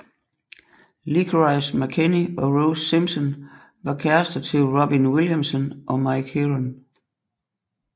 Licorice McKechnie og Rose Simpson var kærrester til Robin Williamson og Mike Heron